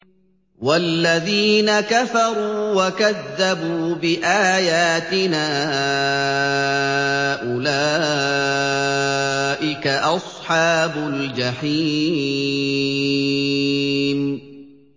وَالَّذِينَ كَفَرُوا وَكَذَّبُوا بِآيَاتِنَا أُولَٰئِكَ أَصْحَابُ الْجَحِيمِ